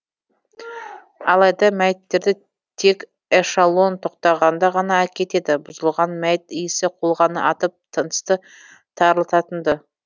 алайда мәйіттерді тек эшалон тоқтағанда ғана әкетеді бұзылған мәйіт иісі қолқаны атып тынысты тарылтатын ды